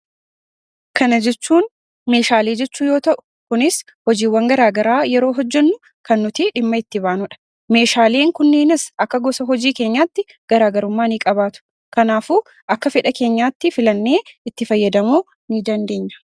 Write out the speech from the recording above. Kana jechuun meeshaalee jechuu yommuu ta'u, kunis hojiilee gara garaa yommuu hojjennu kan dhimma itti baanudha. Meeshaaleen kunniinis akka gosa hojii keenyaatti garaagarummaa ni qabaatu. Kanaafuu, akka fedha keenyaatti filannee itti fayyadamuu ni dandeenya.